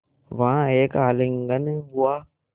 वहाँ एक आलिंगन हुआ